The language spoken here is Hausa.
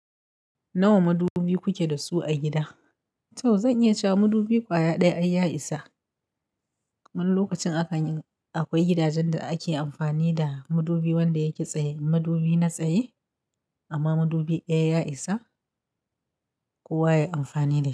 Nawa madubi kuke da su a gida? To zan iya cewa madubi kwaya ɗaya ai ya isa. Wani lokacin akan yi, akwai gidajen da ake amfani da madubi wanda ya ki tsaye, madubi na tsaye. Amma madubi ɗaya ya isa kowa yayi amfani da shi.